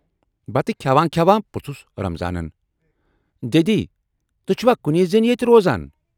"بتہٕ کھٮ۪وان کھٮ۪وان پرُژھس رمضانن"دٮ۪دی، تُہۍ چھِوا کُنۍ زٔنۍ ییتہِ روزان؟